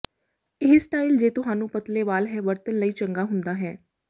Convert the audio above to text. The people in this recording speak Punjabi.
ਇਹ ਸਟਾਈਲ ਜੇ ਤੁਹਾਨੂੰ ਪਤਲੇ ਵਾਲ ਹੈ ਵਰਤਣ ਲਈ ਚੰਗਾ ਹੁੰਦਾ ਹੈ